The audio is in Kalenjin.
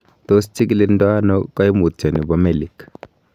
Tos kichikildo ono koimutioni bo melik?